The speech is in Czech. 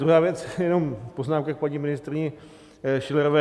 Druhá věc, jenom poznámka k paní ministryni Schillerové.